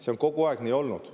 See on kogu aeg nii olnud.